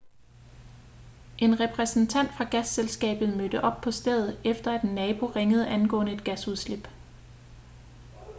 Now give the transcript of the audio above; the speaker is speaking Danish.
en repræsentant fra gasselskabet mødte op på stedet efter at en nabo ringede angående et gasudslip